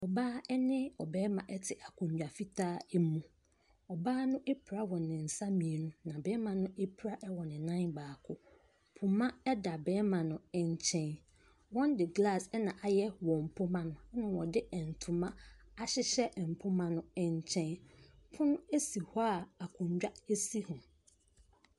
Ɔbaa ne barima te akonnwa fitaa mu. Ɔbaa no apira wɔ ne nsa mmienu, na barima n apira wɔ ne nan baako. Poma da barima ne nkyɛn wɔde glass na ayɛ wɔn mpoma no na wɔde ntoma ahyehyɛ mpoma no nkyɛn. Pono si hɔ a akonnwa si ho.